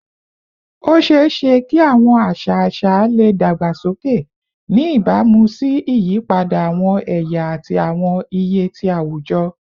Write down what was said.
O ṣeeṣe ki awọn aṣa aṣa le dagbasoke, ni ibamu si iyipada awọn ẹya ati awọn iye ti awujọ